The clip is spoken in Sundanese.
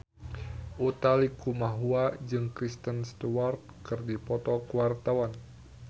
Utha Likumahua jeung Kristen Stewart keur dipoto ku wartawan